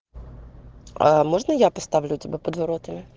а можно я поставлю тебя под воротами